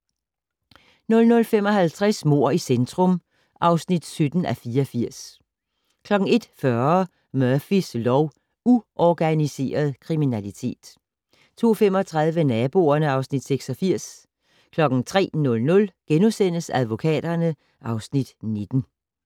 00:55: Mord i centrum (17:84) 01:40: Murphys lov: Uorganiseret kriminalitet 02:35: Naboerne (Afs. 86) 03:00: Advokaterne (Afs. 19)*